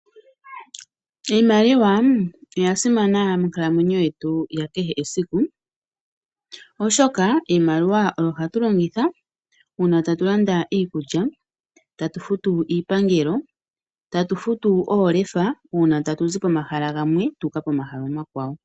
Iimaliwa oya simana monkalamwenyo yetu ya kehe esiku oshoka iimaliwa oyo ha tu longitha uuna tatu landa iikulya tatu futu iipangelo tatu futu oolefa uuna tatu zi pomahala gamwe tuuka komahala omakwawo.